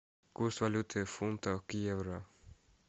курс валюты фунта к евро